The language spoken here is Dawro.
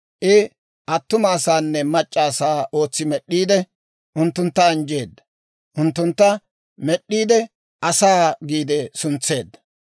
I attuma asaanne mac'c'a asaa ootsi med'd'iide, unttuntta anjjeedda. Unttuntta med'd'iide Asaa giide suntseedda.